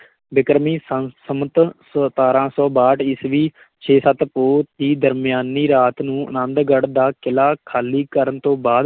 ਬਿਕ੍ਰਮੀ ਸੰ~ ਸੰਮਤ ਸਤਾਰਾਂ ਸੌ ਬਾਹਠ ਈਸਵੀ ਛੇ ਸੱਤ ਪੋਹ ਦੀ ਦਰਮਿਆਨੀ ਰਾਤ ਨੂੰ ਅਨੰਦਗੜ ਦਾ ਕਿਲ੍ਹਾ ਖਾਲੀ ਕਰਨ ਤੋਂ ਬਾਅਦ